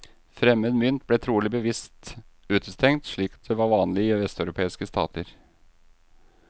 Fremmed mynt ble trolig bevisst utestengt, slik det var vanlig i vesteuropeiske stater.